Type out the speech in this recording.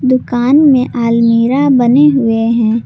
दुकान में आलमीरा बने हुए हैं।